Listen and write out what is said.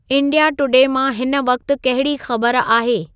India today मां हिन वक़्त कहिड़ी ख़बर आहे